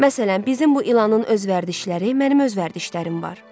Məsələn, bizim bu ilanın öz vərdişləri, mənim öz vərdişlərim var.